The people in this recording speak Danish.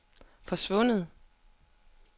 forsvundet